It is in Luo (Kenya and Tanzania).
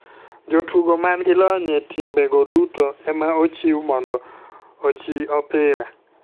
Jotugo man gi lony e timbe go duto ema ochiw mondo ochi opira.